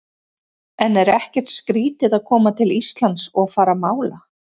En er ekkert skrítið að koma til Íslands og fara að mála?